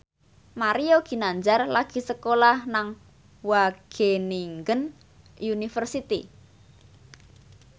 Mario Ginanjar lagi sekolah nang Wageningen University